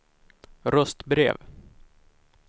röstbrev